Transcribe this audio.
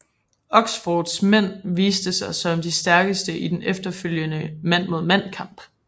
Oxfords mænd viste sig som de stærkeste i den efterfølgende mand mod mand kamp